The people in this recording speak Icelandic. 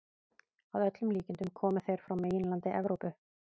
Að öllum líkindum komu þeir frá meginlandi Evrópu.